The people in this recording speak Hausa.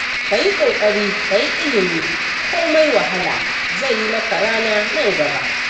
Ka yi ƙoƙari kayi ilimi komai wahala, zai yi maka rana nan gaba.